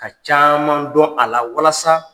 Ka caaman dɔn a la walasa